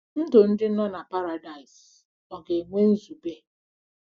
Ndụ ndị nọ na Paradaịs ọ̀ ga-enwe nzube?